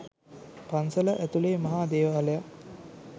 පන්සල ඇතුලේ මහා දේවාලයක්.